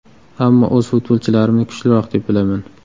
Ammo o‘z futbolchilarimni kuchliroq deb bilaman.